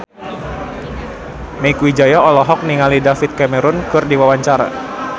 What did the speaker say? Mieke Wijaya olohok ningali David Cameron keur diwawancara